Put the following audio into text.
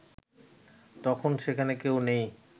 তখন সেখানে কেউ নেই